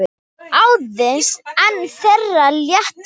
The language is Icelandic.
Aðeins einn þeirra lét lífið.